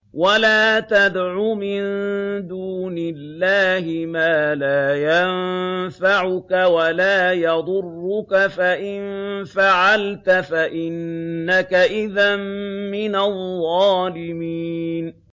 وَلَا تَدْعُ مِن دُونِ اللَّهِ مَا لَا يَنفَعُكَ وَلَا يَضُرُّكَ ۖ فَإِن فَعَلْتَ فَإِنَّكَ إِذًا مِّنَ الظَّالِمِينَ